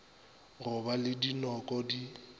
go ba le dinoko di